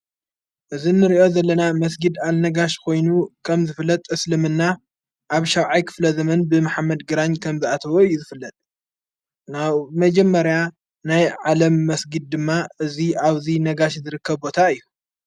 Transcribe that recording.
እዝ ንርእዮ ዘለና መስጊድ ኣልነጋሽ ኾይኑ ከም ዝፍለጥ እስልምና ኣብ ሻውዓይ ክፍለ ዘምን ብምሓመድ ግራን ከም ዝኣተወ እዩ ዝፍለጥ ናዉ መጀመርያ ናይ ዓለም መስጊድ ድማ እዙይ ኣብዙይ ነጋሽ ዝርከ ቦታ እዩ።